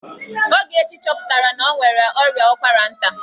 Ogechi chọpụtara na o nwere ọrịa ụkwara nta.